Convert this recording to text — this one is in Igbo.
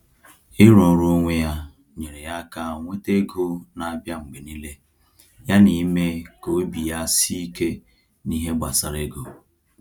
Ịrụ ọrụ onwe ya nyere ya aka nweta ego na-abịa mgbe niile yana ime ka obi ya sie ike n’ihe gbasara ego.